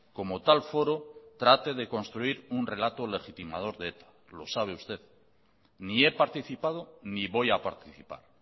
como tal foro trate de construir un relato legitimador de eta lo sabe usted ni he participado ni voy a participar